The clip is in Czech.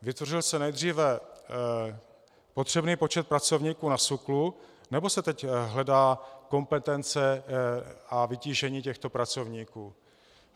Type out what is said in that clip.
Vytvořil se nejdříve potřebný počet pracovníků na SÚKLu, nebo se teď hledá kompetence a vytížení těchto pracovníků?